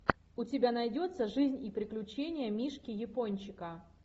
у тебя найдется жизнь и приключения мишки япончика